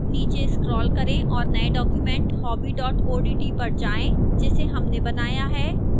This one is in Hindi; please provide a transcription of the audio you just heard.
नीचे scroll करें और नए document hobby odt पर जाएं जिसे हमने बनाया है